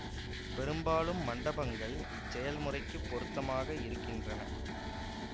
பெரும்பாலும் மண்டபங்கள் இச்செயல்முறைக்குப் பொருத்தமாக இருக்கின்றன